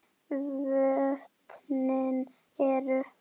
Vötnin eru